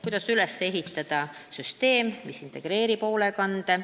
Kuidas üles ehitada süsteem, mis integreerib hoolekande- ...